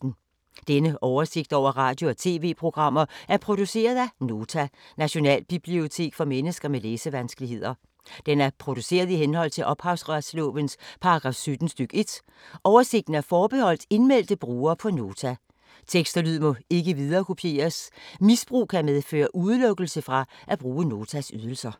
Denne oversigt over radio og TV-programmer er produceret af Nota, Nationalbibliotek for mennesker med læsevanskeligheder. Den er produceret i henhold til ophavsretslovens paragraf 17 stk. 1. Oversigten er forbeholdt indmeldte brugere på Nota. Tekst og lyd må ikke viderekopieres. Misbrug kan medføre udelukkelse fra at bruge Notas ydelser.